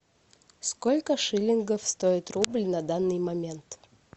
сколько шиллингов стоит рубль на данный момент